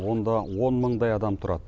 онда он мыңдай адам тұрады